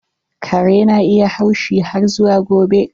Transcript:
Kare na iya haushi har zuwa gobe.